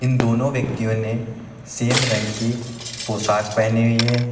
दोनों व्यक्तियों ने सेम रंग की पोशाक पहनी हुई है।